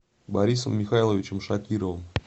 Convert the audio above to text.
борисом михайловичем шакировым